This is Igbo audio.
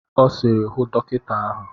Ọ sịrị, hụ dọkịta ahụ!